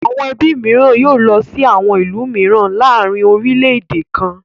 Àwọn ẹbí mìíràn yóò sí lọ sí àwọn ìlú mìíràn láàárin orílẹ̀-èdè kan náà.